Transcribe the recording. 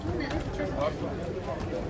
arada siz girsəniz mən də çıxacam.